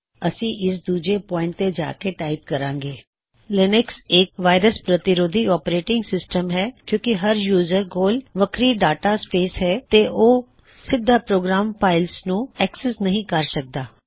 ਅਸੀ ਇਸ ਦੂਜੇ ਪੌਇਨਟ ਤੇ ਜਾ ਕੇ ਟਾਇਪ ਕਰਾਂਗੇ ਲਿਨਕਸ੍ ਇਕ ਵਾਇਰਸ ਪ੍ਰਤਿਰੋਧੀ ਓਪਰੇਟਿੰਗ ਸਿਸਟਮ ਹੈ ਕਿਉਂਕੀ ਹਰ ਯੂਜ਼ਰ ਕੋਲ ਵੱਖਰੀ ਡਾਟਾ ਸਪੇਸ ਹੈ ਤੇ ਉਹ ਸਿੱਧਾ ਪੋ੍ਗਰਾਮ ਫਾਇਲਸਨੂੰ ਸੰਪਰਕ ਨਹੀ ਕਰ ਸਕਦਾ